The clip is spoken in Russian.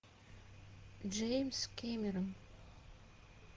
джеймс кэмерон